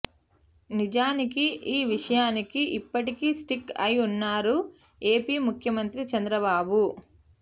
నిజానికి ఈ విషయానికి ఇప్పటికీ స్టిక్ అయి ఉన్నారు ఏపీ ముఖ్యమంత్రి చంద్రబాబు